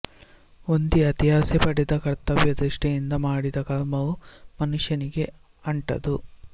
ಹೊಂದಿ ಅತಿಯಾಸೆ ಪಡದೆ ಕರ್ತವ್ಯ ದೃಷ್ಠಿಯಿಂದ ಮಾಡಿದ ಕರ್ಮವು ಮನುಷ್ಯನಿಗೆ ಅಂಟದು